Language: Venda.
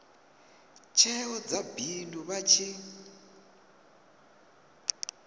tsheo dza bindu vha tshi